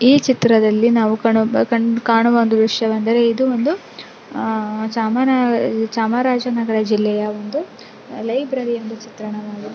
ಈ ಚಿತ್ರದಲ್ಲಿ ನಾವು ಕಾಣ್ ಕಾಣು ಕಾಣುವ ದೃಶ್ಯ ಏನೆಂದರೆ ಇದು ಒಂದು ಚಾಮ ಚಾಮರಾಜನಗರ ಜಿಲ್ಲೆಯ ಒಂದು ಲೈಬ್ರೆರಿಯ ಚಿತ್ರಣವಾಗಿದೆ.